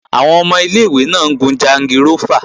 Àwọn ọmọ ilé-ìwé náà ń gun jangirófà